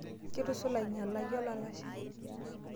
Kitusula ainyalake olalashe.